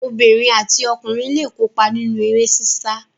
Obìnrin àti ọkùnrin le kópa nínú eré sísá.